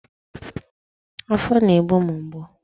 Afọ na-egbu m mgbu